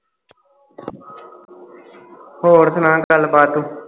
ਹੋਰ ਸੂਣਾ ਗੱਲਬਾਤ ਤੂੰ